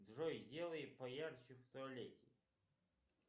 джой сделай поярче в туалете